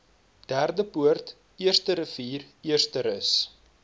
derdepoort eersterivier eersterus